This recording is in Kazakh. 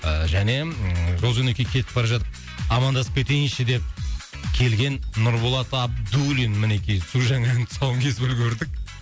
ыыы және ыыы жол жөнекей кетіп бара жатып амандасып кетейінші деп келген нұрболат абдуллин мінекей су жаңа ән тұсауын кесіп үлгердік